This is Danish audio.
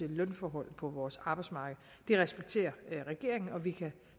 lønforhold på vores arbejdsmarked det respekterer regeringen og vi kan